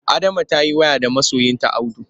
Adama ta yi waya da masoyinta Audu.